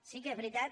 sí que és veritat